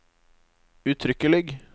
uttrykkelig